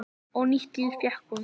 Og nýtt líf fékk hún.